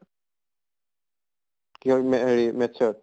কিহৰ মে হেৰি math ত?